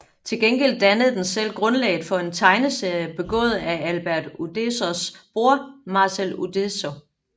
Til gengæld dannede den selv grundlag for en tegneserie begået af Albert Uderzos bror Marcel Uderzo